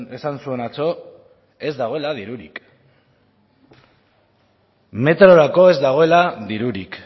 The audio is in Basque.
esan zuen atzo ez dagoela dirurik metrorako ez dagoela dirurik